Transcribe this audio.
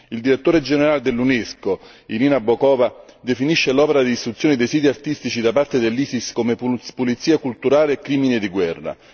Il Direttore generale dell'Unesco Irina Bokova definisce l'opera di distruzione dei siti artistici da parte dell'Isis come pulizia culturale e crimine di guerra.